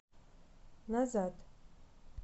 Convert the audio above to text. назад